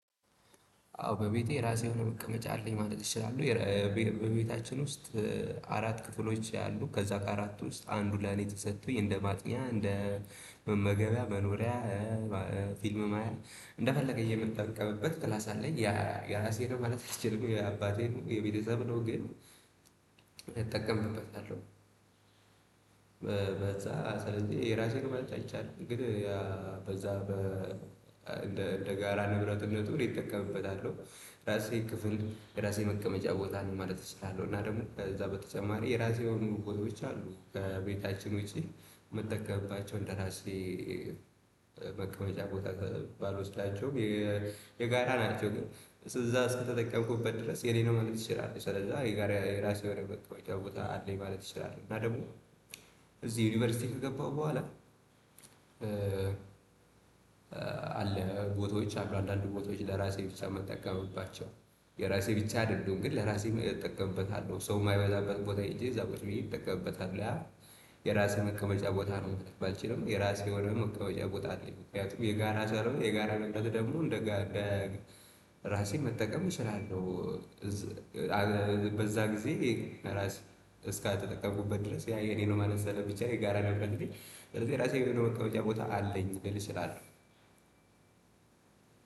አዎ በቤቴ የራሴ የሆነ መቀመጫ አለኝ ማለት ይችላለሁ። በቤታችን ውስጥ አራት ክፍሎች ያሉ ከዛ ከአራት ውስጥ አንዱ ለኔ ተሰጥቶኝ እንደ ማጥኛ እንደ መመገቢያ መኖሪያ። ፊልም ማያ እንደፈለገኝ የምጠቀምበት ክላስ አለኝ ያ የራሴ ነው ማለት የምትችለው የአባቴን የቤተሰብ ነው ግን እጠቀምበታለሁ። በዛ ስለዚህ የራሴን ማለት አይቻልም ግን በዛ እንደ እንደ ጋራ ንብረትነቱ እኔ ይጠቀምበታል የራሴ ክፍል የራሴ መቀመጫ ቦታ አለኝ ማለት እችላለሁ። እና ደግሞ እዛ በተጨማሪ የራሴ የሆኑ ቦቶች አሉኝ። ከቤታችን ውጪ የምትጠቀምባቸው እንደራሴ በቅመጫ ቦታ ባልወስዳቸውም የጋራ ናቸው። ግን እዛ እስክትጠቀምኩበት ድረስ የኔ ነው ማለት እችላለሁ። ስለዚህ የጋራ የራሴ ሆነ መቀመጫ ቦታ አለኝ ማለት እችላለሁ። እና ደግሞ እዚህ ዩኒቨርሲቲ ከገባሁ በኋላ አለ ቦታዎች አንዳንድ ቦታዎች ለራሴ ብቻ ምጠቀምባቸው። የራሴ ብቻ አይደሉም ግን ለራሴ መጠቀምበታለሁ ሰው የማይበዛበት ቦታ ሄጄ እዛ በቃ ብዬ ይጠቀምበታል አለ። የራሴ መቀመጫ ቦታ ነው ባልችልም የራሴ የሆነ መቀመጫ ቦታ አለኝ ምክንያቱም የጋራ ስለሆነ የጋራ ቦታን ደግሞ እንደ ራሴ መጠቀም እችላለሁ። በዛ ጊዜ ራስ እስከተጠቀምኩበት ድረስ ያ የኔ ነው ማለት ስለሚቻል የጋራ ነው እንዴ ስለዚህ ራሴ የሆነው ከውጪ ቦታ አለኝ ልል እችላለሁ።